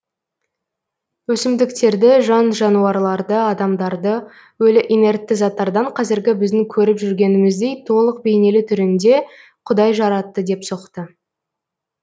өсімдіктерді жан жануарларды адамдарды өлі инертті заттардан қазіргі біздің көріп жүргеніміздей толық бейнелі түрінде құдай жаратты деп соқты